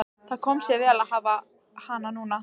Það kom sér vel að hafa hana núna.